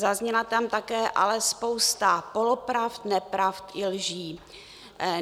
Zazněla tam také ale spousta polopravd, nepravd i lží.